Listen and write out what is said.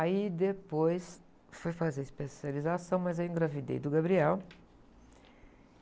Aí depois fui fazer especialização, mas aí eu engravidei do Gabriel.